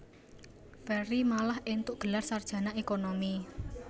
Ferry malah éntuk gelar sarjana ékonomi